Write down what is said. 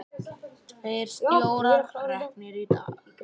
Tveir stjórar reknir í dag